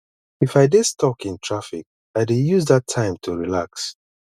if i dey stuck in traffic i dey use that time to relax